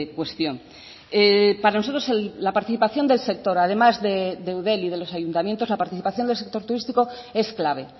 cuestión para nosotros la participación del sector además de eudel y de los ayuntamientos la participación del sector turístico es clave